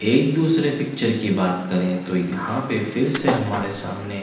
एक दूसरे पिक्चर की बात करे तो यहाँ पे फिरसे हमारे सामने--